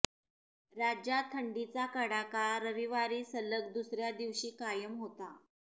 राज्यात थंडीचा कडाका रविवारी सलग दुसर्या दिवशी कायम होता